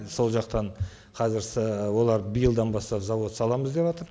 сол жақтан қазір олар биылдан бастап зауыт саламыз деватыр